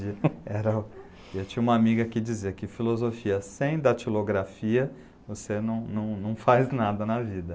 Eu tinha uma amiga que dizia que filosofia sem datilografia, você não faz nada na vida.